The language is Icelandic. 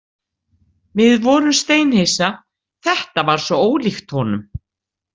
Við vorum steinhissa, þetta var svo ólíkt honum.